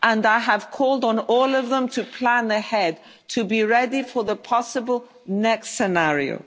us. I have called on all of them to plan ahead, to be ready for the possible next scenario.